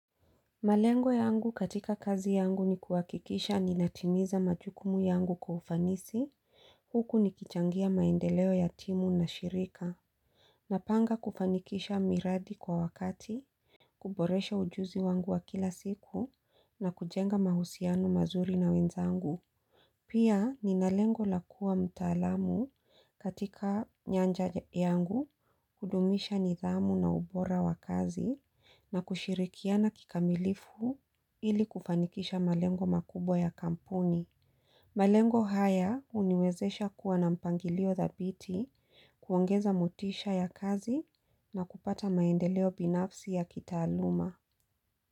Malengo yangu katika kazi yangu ni kuhakikisha ninatimiza majukumu yangu kwa ufanisi. Huku nikichangia maendeleo ya timu na shirika. Napanga kufanikisha miradi kwa wakati, kuboresha ujuzi wangu wa kila siku na kujenga mahusiano mazuri na wenzangu. Pia nina lengo la kuwa mtaalamu katika nyanja yangu kudumisha nidhamu na ubora wa kazi na kushirikiana kikamilifu ili kufanikisha malengo makubwa ya kampuni. Malengo haya huniwezesha kuwa na mpangilio dhabiti kuongeza motisha ya kazi na kupata maendeleo binafsi ya kitaaluma.